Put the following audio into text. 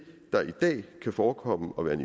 der i dag kan forekomme at være en